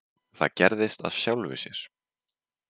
Það gerðist af sjálfu sér.